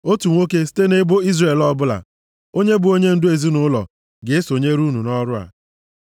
Otu nwoke, site nʼebo Izrel ọbụla, onye bụ onyendu ezinaụlọ, ga-esonyere unu nʼọrụ a.